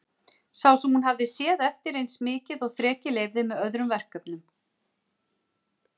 Sá sem hún hafði séð eftir eins mikið og þrekið leyfði, með öðrum verkefnum.